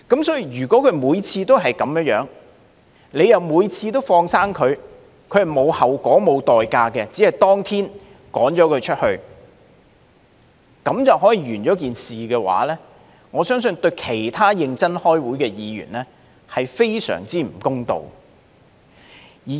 所以，如果每次都是這樣，而每次都放生他，他們是沒有後果、不用付出代價，只是當天將他趕離會議廳便了事，我相信對其他認真開會的議員，是非常不公道的。